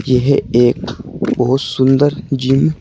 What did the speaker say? यह एक बहोत सुंदर जिम --